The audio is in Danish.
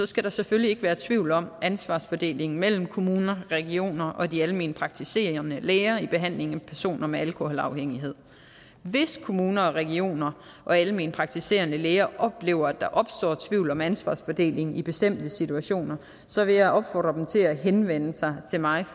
skal der selvfølgelig ikke være tvivl om ansvarsfordelingen mellem kommuner regioner og de almenpraktiserende læger i behandlingen af personer med alkoholafhængighed hvis kommuner regioner og almenpraktiserende læger oplever at der opstår tvivl om ansvarsfordelingen i bestemte situationer vil jeg opfordre dem til at henvende sig til mig